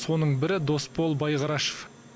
соның бірі досбол байғарашев